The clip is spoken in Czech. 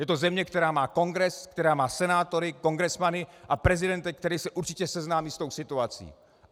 Je to země, která má Kongres, která má senátory, kongresmany a prezidenta, který se určitě seznámí s tou situací.